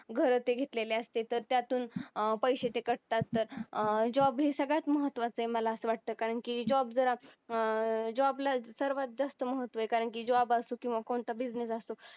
तर घेतलेले असते तर त्यातून पैसे ते cut तात तर अं job हे सगळ्यात महत्त्वाचं आहे मला असं वाटतं कारण की job जर job ला सर्वात जास्त महत्त्व आहे कारण job असो किंवा कोणता business असो